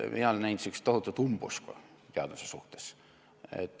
Ma olen näinud tohutut umbusku teaduse suhtes.